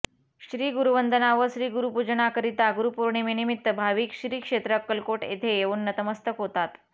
श्री गुरुवंदना व श्री गुरुपूजनाकरिता गुरुपौर्णिमेनिमित्त भाविक श्री क्षेत्र अक्कलकोट येथे येऊन नतमस्तक होतात